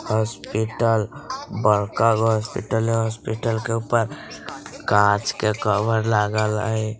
हॉस्पिटल बड़का गो हॉस्पिटल है हॉस्पिटल के ऊपर कांच के कवर लागल हेय।